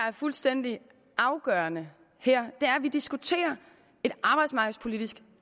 er fuldstændig afgørende her er at vi diskuterer et arbejdsmarkedspolitisk